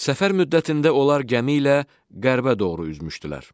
Səfər müddətində onlar gəmi ilə qərbə doğru üzmüşdülər.